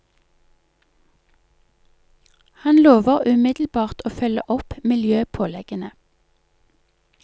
Han lover umiddelbart å følge opp miljøpåleggene.